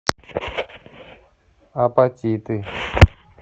апатиты